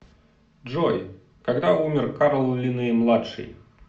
джой когда умер карл линней младший